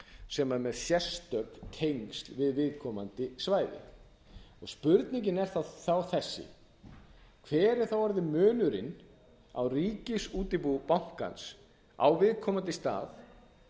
er með sérstök tengsl við viðkomandi svæði spurningin er þá þessi hver er þá orðinn munurinn á ríkisútibúi bankans á viðkomandi stað